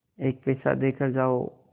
एक पैसा देकर जाओ